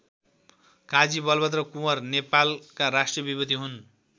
काजी बलभद्र कुँवर नेपालका राष्ट्रिय विभूति हुन्।